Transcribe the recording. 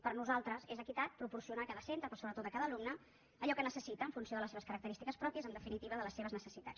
per nosaltres és equitat proporcionar a cada centre però sobretot a cada alumne allò que necessita en funció de les seves característiques pròpies en definitiva de les seves necessitats